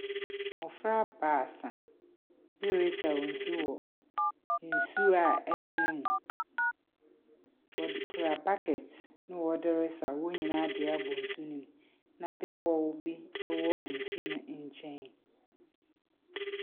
Mmɔfra baasa bi resaw nsu wa nsu a ɛtene mu. Wɔde kura buckets na wɔde resaw wɔn nyinaa de abɔ nsu no mu, na bepɔw bi wɔ nsu no nkyɛn.